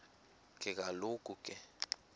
ke kaloku ke